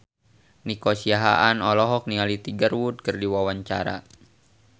Nico Siahaan olohok ningali Tiger Wood keur diwawancara